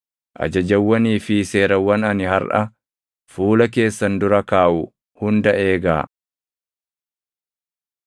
ajajawwanii fi seerawwan ani harʼa fuula keessan dura kaaʼu hunda eegaa.